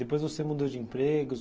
Depois você mudou de empregos?